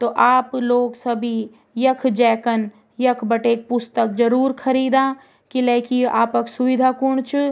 तो आप लोग सभी यख जेकन यख बटे पुस्तक जरूर खरीदा किलेकी य आपक सुविधा खुन च ।